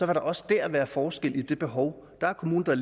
der også der være forskelle i de behov der er kommuner der